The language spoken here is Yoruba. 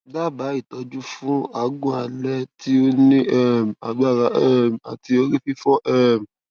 dabaa itoju fun agun ale ti o ni um agbara um ati ori fifo um